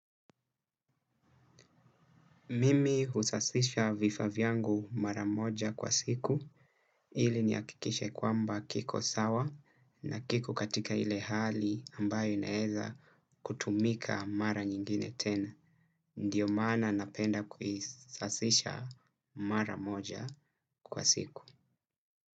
Mimi husasisha vifaa vyangu mara moja kwa siku, ili nihakikishe kwamba kiko sawa na kiko katika ile hali ambayo inaweza kutumika mara nyingine tena. Ndiyo maana ninapenda kuisasisha mara moja kwa siku.